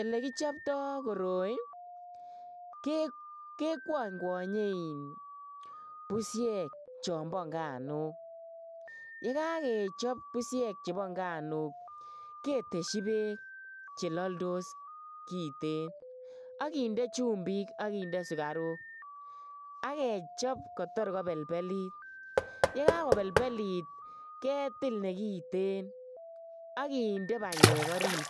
Elekichopto koroi kekwonykwonye in pusiek chombo nganuk. Yekakechop pusiek chebo inganuk ketesyi beek che laldos kiten ak kinde chumbik ak kinde sugaruk ak kechop kotor kolepelit. Yekakolepelit ketil ne kiten ak kinde banyek orit